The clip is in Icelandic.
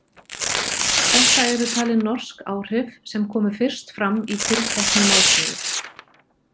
Þetta eru talin norsk áhrif sem komu fyrst fram í tilteknu málsniði.